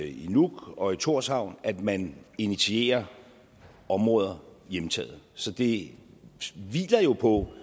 i nuuk og i tórshavn at man initierer områder hjemtaget så det hviler jo på